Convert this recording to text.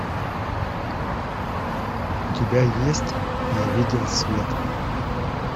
у тебя есть я видел свет